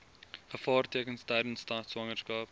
gevaartekens tydens swangerskap